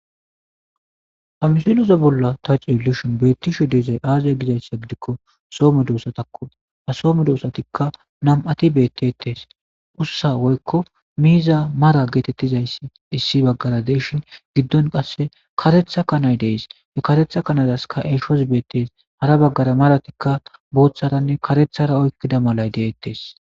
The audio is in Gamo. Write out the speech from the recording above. hamsiloza bolla ta cielishin beettishe deezay aazaya gizayssa gidikko soome doossa takku a soome doosatikka nam7ati beettetees ussa woykko miiza mara geetettizayssi issi baggara deeshin giddon qasse karetha kanay dees e karetha kanadaskka eshos beettees hara baggara maratikka booththaranne karethara oykkida malay deettes